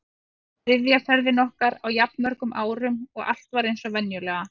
Þetta var þriðja ferðin okkar á jafn mörgum árum og allt var eins og venjulega.